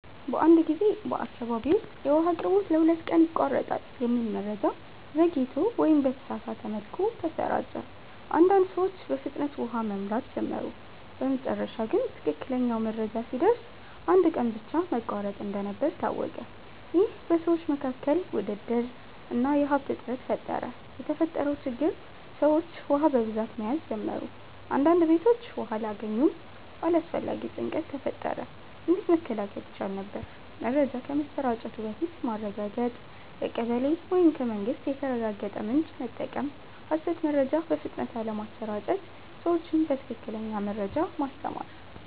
አንድ ጊዜ በአካባቢ ውስጥ “የውሃ አቅርቦት ለሁለት ቀን ይቋረጣል” የሚል መረጃ ዘግይቶ ወይም በተሳሳተ መልኩ ተሰራጨ። አንዳንድ ሰዎች በፍጥነት ውሃ መሙላት ጀመሩ በመጨረሻ ግን ትክክለኛው መረጃ ሲደርስ አንድ ቀን ብቻ መቋረጥ እንደነበር ታወቀ ይህ በሰዎች መካከል ውድድር እና የሀብት እጥረት ፈጠረ የተፈጠረው ችግር ሰዎች ውሃ በብዛት መያዝ ጀመሩ አንዳንድ ቤቶች ውሃ አላገኙም አላስፈላጊ ጭንቀት ተፈጠረ እንዴት መከላከል ይቻል ነበር? መረጃ ከመሰራጨቱ በፊት ማረጋገጥ ከቀበሌ ወይም ከመንግስት የተረጋገጠ ምንጭ መጠቀም ሐሰት መረጃ በፍጥነት አለመስራጨት ሰዎችን በትክክለኛ መረጃ ማስተማር